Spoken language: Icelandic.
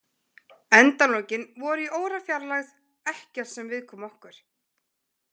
Endalokin voru í órafjarlægð, ekkert sem viðkom okkur.